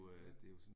Ja